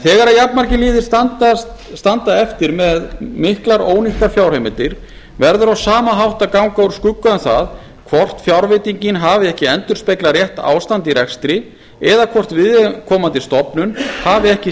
þegar jafnmargir liðir standa eftir með miklar ónýttar fjárheimildir verður á sama hátt að ganga úr skugga um hvort fjárveitingin hafi ekki endurspeglað rétt ástand í rekstri eða hvort viðkomandi stofnun hafi ekki